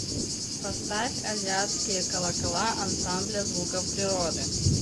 поставь азиатские колокола ансамбля звуков природы